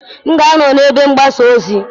M ga-anọ na ebe mgbasa ozi